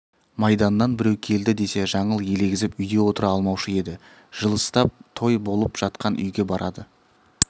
майданнан біреу келді десе жаңыл елегізіп үйде отыра алмаушы еді жылыстап той болып жатқан үйге барады